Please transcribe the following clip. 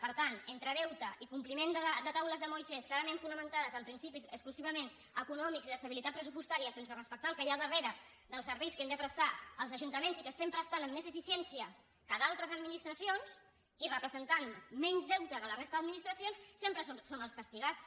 per tant entre deute i compliment de les taules de moisès clarament fonamentades en principis exclusivament econòmics i d’estabilitat pressupostària sense respectar el que hi ha darrere dels serveis que hem de prestar els ajuntaments i que sempre estan amb més eficiència que d’altres administracions i representant menys deute que la resta d’administracions sempre som els castigats